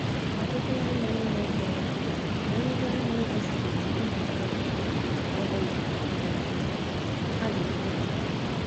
Ọtụtụ ndị nọ na mkpọrọ bụ ndị a na-gosibeghi ịhụnanya, ọbụna mgbe ha dị na nwata.